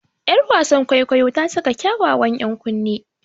Yar wasan kwaikwayon ta saka kyawawan ‘yan kunne.